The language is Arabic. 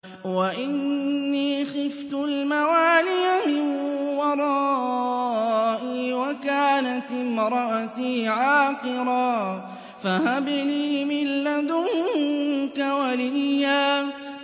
وَإِنِّي خِفْتُ الْمَوَالِيَ مِن وَرَائِي وَكَانَتِ امْرَأَتِي عَاقِرًا فَهَبْ لِي مِن لَّدُنكَ وَلِيًّا